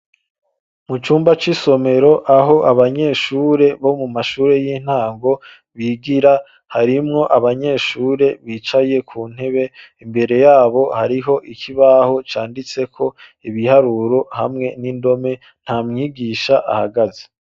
Mucumba c’isomero aho abanyeshure bo mumashure y’intango bigira harimwo abanyeshure bicaye kuntebe ,imbere yabo hariho ikibaho canditseko ibiharuro hamwe nindome ,ntamwigisha ahagaze.